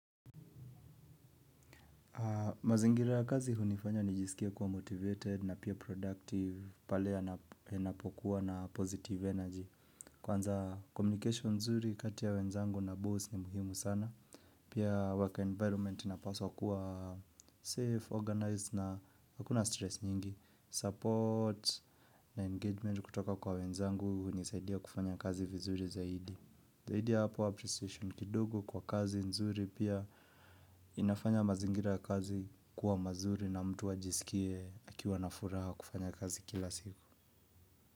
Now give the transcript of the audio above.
Mazingira ya kazi hunifanya nijisikie kuwa motivated na pia productive pale yanapokuwa na positive energy. Kwanza communication nzuri katia wenzangu na boss ni muhimu sana pia work environment inapaswa kuwa safe, organized na hakuna stress nyingi support na engagement kutoka kwa wenzangu unisaidia kufanya kazi vizuri zaidi. Zaidi ya hapo appreciation kidogo kwa kazi nzuri pia inafanya mazingira ya kazi kuwa mazuri na mtu ajisikie akiwa na furaha kufanya kazi kila siku.